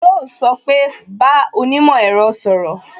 Yo sọ pé "bá onímò ẹ̀rọ sọ̀rọ̀